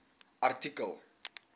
artikel